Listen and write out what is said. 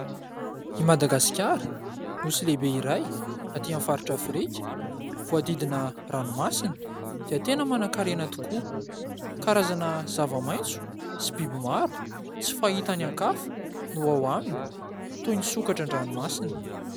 I Madagasikara, nosy lehibe iray aty amin'ny faritra afrika, voadidina ranomasina dia tena manan-karena tokoa. Karazana zava-maitso sy biby maro tsy fahita any an-kafa no ao aminy toy ny sokatra an-dranomasina.